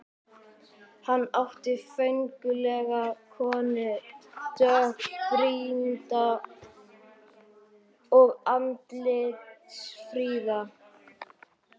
Hann átti föngulega konu, dökkbrýnda og andlitsfríða.